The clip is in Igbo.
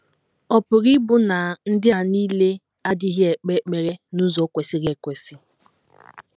Ọ̀ pụrụ ịbụ na ndị a nile adịghị ekpe ekpere n’ụzọ kwesịrị ekwesị?